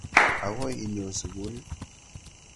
Akoi inyo sukil ii?